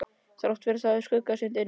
Þrátt fyrir það var skuggsýnt inni.